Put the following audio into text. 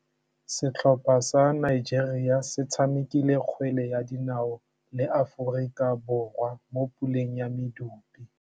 Setlhopha sa Nigeria se tshamekile kgwele ya dinaô le Aforika Borwa mo puleng ya medupe.